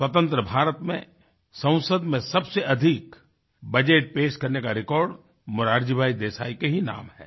स्वतंत्र भारत में संसद में सबसे अधिक बजट पेश करने का रेकॉर्ड मोरारजी भाई देसाई के ही नाम है